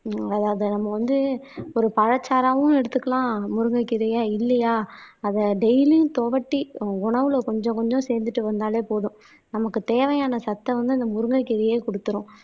அதாவது நம்ம வந்து ஒரு பழச்சாறாவும் எடுத்துக்கலாம் முருங்கைக்கீரையா இல்லையா அத டெய்லி துவட்டி உணவுல கொஞ்சம் கொஞ்சம் சேந்துட்டு வந்தாலே போதும் நமக்கு தேவையான சத்தம் வந்து அந்த முருங்கைக்கீரையையே குடுத்திரும்.